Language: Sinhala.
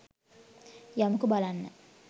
යමුකෝ බලන්න